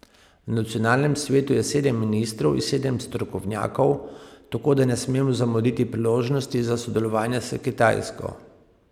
V nacionalnem svetu je sedem ministrov in sedem strokovnjakov, tako da ne smemo zamuditi priložnosti za sodelovanje s Kitajsko.